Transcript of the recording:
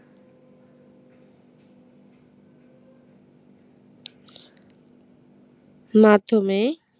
মাধ্যমে